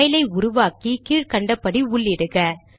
file ஐ உருவாக்கி கீழ் கண்டபடி உள்ளிடுக